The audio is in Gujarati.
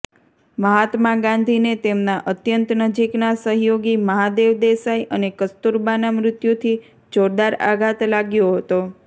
મહાત્મા ગાંધીને તેમના અત્યંત નજીકના સહયોગી મહાદેવ દેસાઈ અને કસ્તૂરબાનાં મૃત્યુથી જોરદાર આઘાત લાગ્યો હતો